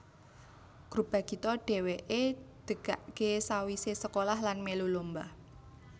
Grup Bagito dheweke degake sawisé sekolah lan mèlu lomba